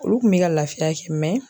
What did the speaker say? Olu kun bɛ ka lafiya kɛ